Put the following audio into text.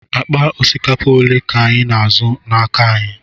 Akpa osikapa ole ka ị na-azụ n'aka anyị?